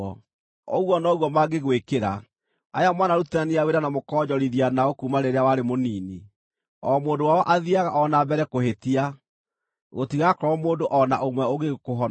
Ũguo noguo mangĩgwĩkĩra, aya mwanarutithania wĩra na mũkonjorithia nao kuuma rĩrĩa warĩ mũnini. O mũndũ wao athiiaga o na mbere kũhĩtia; gũtigakorwo mũndũ o na ũmwe ũngĩgĩkũhonokia.